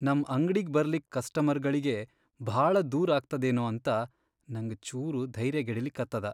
ನಮ್ ಅಂಗ್ಡಿಗ್ ಬರ್ಲಿಕ್ ಕಸ್ಟಮರ್ಗಳಿಗೆ ಭಾಳ ದೂರ್ ಆಗ್ತದೇನೋ ಅಂತ ನಂಗ್ ಚೂರ್ ಧೈರ್ಯಗೆಡಲಿಕತ್ತದ.